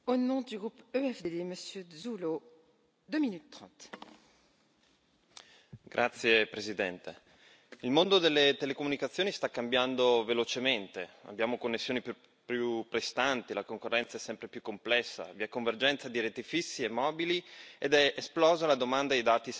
Signora Presidente, onorevoli colleghi, il mondo delle telecomunicazioni sta cambiando velocemente. Abbiamo connessioni più prestanti, la concorrenza è sempre più complessa, vi è convergenza di reti fisse e mobili ed è esplosa la domanda dei dati senza fili.